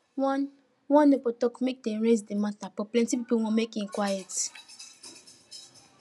one one neighbor talk make them raise the matter but plenty people wan make e quite